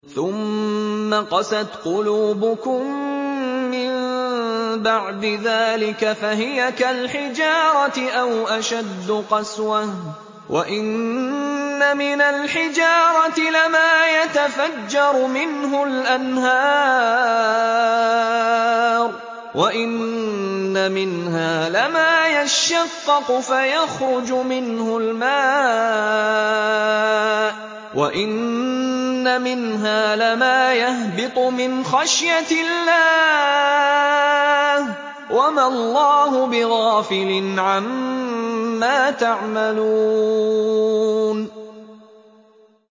ثُمَّ قَسَتْ قُلُوبُكُم مِّن بَعْدِ ذَٰلِكَ فَهِيَ كَالْحِجَارَةِ أَوْ أَشَدُّ قَسْوَةً ۚ وَإِنَّ مِنَ الْحِجَارَةِ لَمَا يَتَفَجَّرُ مِنْهُ الْأَنْهَارُ ۚ وَإِنَّ مِنْهَا لَمَا يَشَّقَّقُ فَيَخْرُجُ مِنْهُ الْمَاءُ ۚ وَإِنَّ مِنْهَا لَمَا يَهْبِطُ مِنْ خَشْيَةِ اللَّهِ ۗ وَمَا اللَّهُ بِغَافِلٍ عَمَّا تَعْمَلُونَ